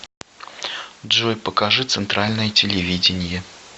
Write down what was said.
джой покажи центральное телевидение